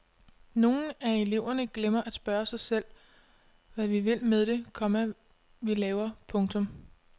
Nogle af eleverne glemmer at spørge sig selv hvad vi vil med det, komma vi laver. punktum